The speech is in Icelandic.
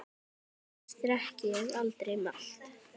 Annars drekk ég aldrei malt.